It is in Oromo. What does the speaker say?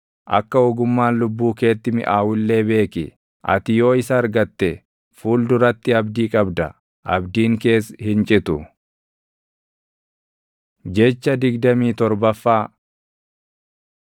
Akka ogummaan lubbuu keetti miʼaawu illee beeki; ati yoo isa argatte fuul duratti abdii qabda; abdiin kees hin citu. Jecha digdamii torbaffaa